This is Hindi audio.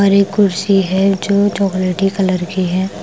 और एक कुर्सी है जो चॉकलेट कलर की है ।